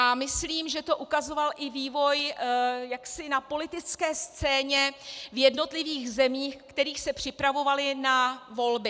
A myslím, že to ukazoval i vývoj jaksi na politické scéně v jednotlivých zemích, které se připravovaly na volby.